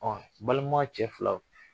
Ɔ balima cɛ fila